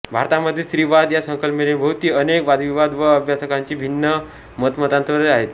भारतामध्ये स्त्रीवाद या संकल्पनेभोवती अनेक वादविवाद व अभ्यासकांची भिन्न मतमतांतरे आहेत